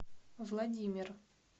владимир